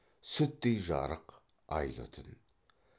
сүттей жарық айлы түн